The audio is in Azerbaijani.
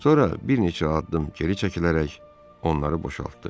Sonra bir neçə addım geri çəkilərək onları boşaltdı.